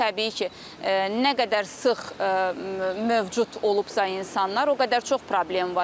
Təbii ki, nə qədər sıx mövcud olubsa insanlar, o qədər çox problem var.